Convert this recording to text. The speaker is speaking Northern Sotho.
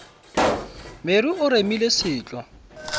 mere o remile se tlo